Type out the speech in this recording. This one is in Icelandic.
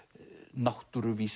náttúruvísindi